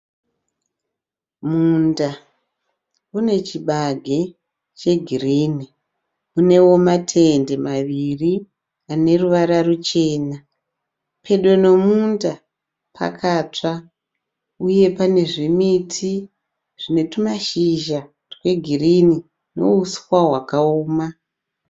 Munda une chibage chegirini. Unewo matende maviri ane ruvara ruchena. Pedo nomunda pakatsva uye pane zvimiti zvine tumashizha twegirini nouswa hwakaoma.